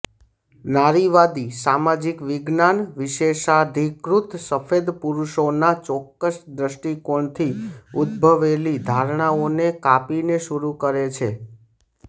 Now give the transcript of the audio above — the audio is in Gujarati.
નારીવાદી સામાજિક વિજ્ઞાન વિશેષાધિકૃત સફેદ પુરુષોના ચોક્કસ દૃષ્ટિકોણથી ઉદ્દભવેલી ધારણાઓને કાપીને શરૂ કરે છે